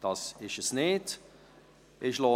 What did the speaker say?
– Das ist nicht der Fall.